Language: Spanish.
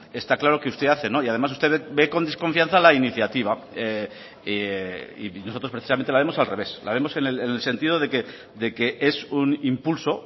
está claro que usted hace y además usted ve con desconfianza la iniciativa y nosotros precisamente la vemos al revés la vemos en el sentido de que es un impulso